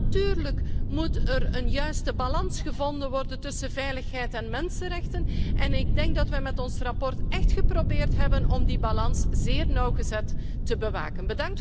Natuurlijk moet er een juiste balans gevonden worden tussen veiligheid en mensenrechten en ik denk dat wij met ons verslag echt geprobeerd hebben om die balans zeer nauwgezet te bewaken.